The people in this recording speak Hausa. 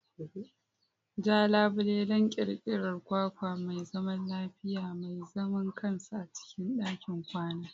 Ja labule don ƙirƙirar kwakwa mai zaman lafiya, mai zaman kansa a cikin ɗakin kwana.